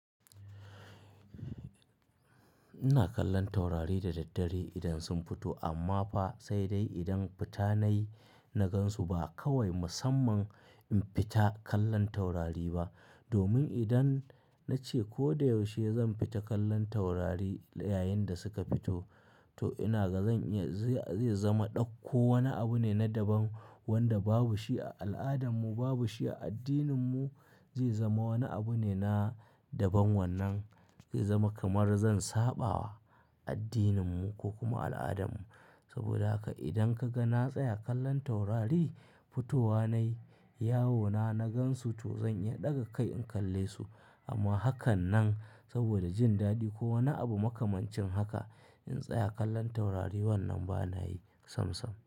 Ina kallon taurari da daddare idan sun fito amma fa sai dai idan fita nayi na gan su ba kawai musamman in fita kallon taurari ba. Domin idan na ce ko da yaushe zan fita kallon taurari, yayin da suka fito, to ina ga zan iya zai zama ɗauko wani abu ne na daban wanda babu shi a al'adan mu, babu shi a addinin mu. Zai zama wani abu ne na daban wannan zai zama kamar zan saɓa wa addinin mu ko kuma al'adan mu. Saboda haka idan ka ga na tsaya kallon taurari fitowa nayi yawona na gan su to zan iya ɗaga kai in kalle su amma hakan nan saboda jin daɗi ko wani abu makamancin haka in tsaya kallon taurari wannan ba na yi sam-sam.